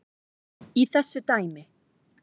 í þessu dæmi.